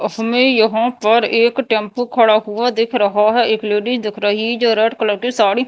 उसमें यहां पर एक टेम्पो खड़ा हुआ दिख रहा है। एक लेडी दिख रही जो रेड कलर की साड़ी--